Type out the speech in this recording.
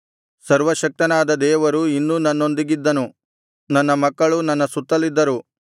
ಸರ್ವಶಕ್ತನಾದ ದೇವರು ಇನ್ನೂ ನನ್ನೊಂದಿಗಿದ್ದನು ನನ್ನ ಮಕ್ಕಳು ನನ್ನ ಸುತ್ತಲಿದ್ದರು